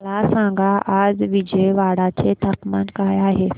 मला सांगा आज विजयवाडा चे तापमान काय आहे